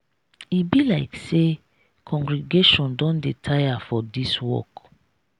e be like say congregation don dey tire for this work.